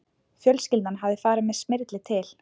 Fjölskyldan hafði farið með Smyrli til